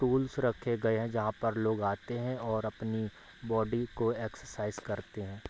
Tools रखे गए हैं जहाँ पर लोग आते हैं और अपनी बॉडी को एक्सरसाइज करते हैं।